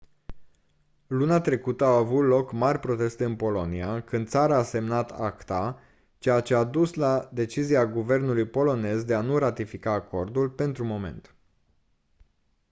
luna trecută au avut loc mari proteste în polonia când țara a semnat acta ceea ce a dus la decizia guvernului polonez de a nu ratifica acordul pentru moment